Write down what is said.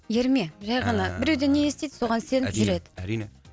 ерме жай ғана біреуден не естиді соған сеніп жүреді әрине әрине